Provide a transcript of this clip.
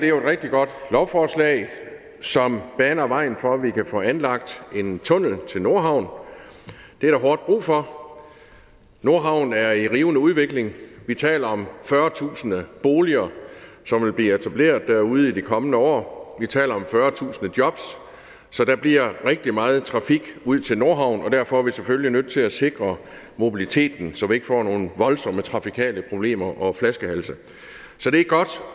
jo et rigtig godt lovforslag som baner vejen for at vi kan få anlagt en tunnel til nordhavn det er der hårdt brug for nordhavn er i rivende udvikling vi taler om fyrretusind boliger som vil blive etableret derude i de kommende år og vi taler om fyrretusind jobs så der bliver rigtig meget trafik ud til nordhavn og derfor er vi selvfølgelig nødt til at sikre mobiliteten så vi ikke får nogle voldsomme trafikale problemer og flaskehalse så det er godt